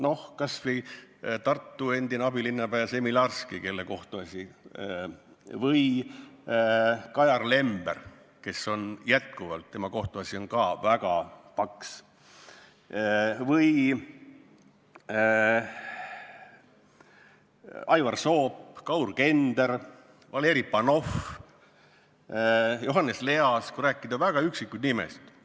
Või näiteks Tartu endine abilinnapea Semilarski või Kajar Lember, kelle kohtuasi on ka väga paks, või Aivar Soop, Kaur Kender, Valeri Panov, Johannes Leas, kui nimetada väga üksikuid nimesid.